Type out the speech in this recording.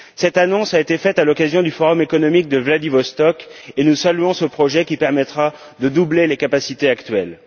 Cette annonce a été faite à l'occasion du forum économique de Vladivostok et nous saluons ce projet qui permettra de doubler les capacités actuelles.